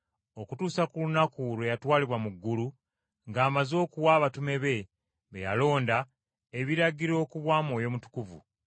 okutuusa ku lunaku lwe yatwalibwa mu ggulu ng’amaze okuwa abatume be, be yalonda, ebiragiro ku bwa Mwoyo Mutukuvu.